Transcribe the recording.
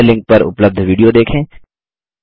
निम्न लिंक पर उपलब्ध विडियो देखें